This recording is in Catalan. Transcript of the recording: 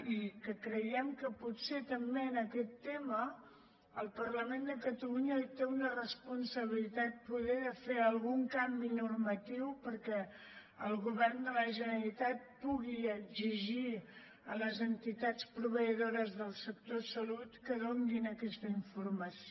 i creiem que potser també en aquest tema el parlament de catalunya hi té una responsabilitat poder de fer algun canvi normatiu perquè el govern de la generalitat pugui exigir a les entitats proveïdores del sector salut que donin aquesta informació